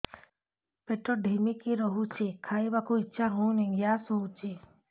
ପେଟ ଢିମିକି ରହୁଛି ଖାଇବାକୁ ଇଛା ହଉନି ଗ୍ୟାସ ହଉଚି